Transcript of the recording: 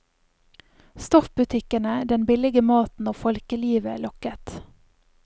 Stoffbutikkene, den billige maten og folkelivet lokket.